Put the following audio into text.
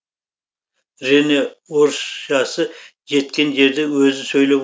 ренэ орысшасы жеткен жерде өзі сөйлеп